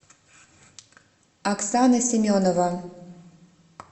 оксана семенова